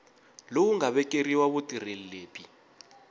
lowu nga vekeriwa vutirheli lebyi